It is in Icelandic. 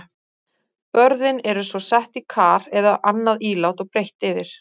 Börðin eru svo sett í kar eða annað ílát og breitt yfir.